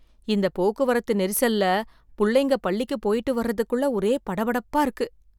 இந்த போக்குவரத்து நெரிசல்ல புள்ளைங்க பள்ளிக்கு போயிட்டு வர்றதுக்குள்ள ஒரே படபடப்பா இருக்கு